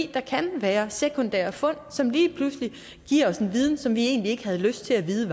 der kan være sekundære fund som lige pludselig giver os en viden som vi egentlig ikke har lyst til at vide